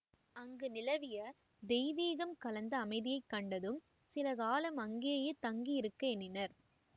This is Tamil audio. அங்கு நிலவிய தெய்வீகம் கலந்த அமைதியை கண்டதும் சில காலம் அங்கேயே தங்கி இருக்க எண்ணினர்